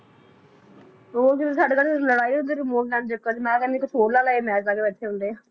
ਹੋਰ ਕੀ ਸਾਡੇ ਤਾਂ ਬੱਸ ਲੜਾਈ ਹੁੰਦੀ ਆ remote ਲੈਣ ਦੇ ਚੱਕਰ ਚ ਮੈਂ ਕਹਿੰਦੀ ਹਾਂ ਕੁਝ ਹੋਰ ਲਾ ਲੈ ਇਹ ਮੈਚ ਲਾ ਕੇ ਬੈਠੇ ਹੁੰਦੇ